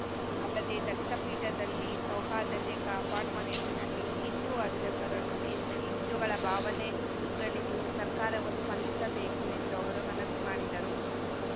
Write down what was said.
ಅಲ್ಲದೇ ದತ್ತ ಪೀಠದಲ್ಲಿ ಸೌಹಾರ್ದತೆ ಕಾಪಾಡುವ ನಿಟ್ಟಿನಲ್ಲಿ ಹಿಂದು ಅರ್ಚಕರನ್ನು ನೇಮಿಸಿ ಹಿಂದುಗಳ ಭಾವನೆಗಳಿಗೆ ಸರ್ಕಾರವು ಸ್ಪಂದಿಸಬೇಕು ಎಂದು ಅವರು ಮನವಿ ಮಾಡಿದರು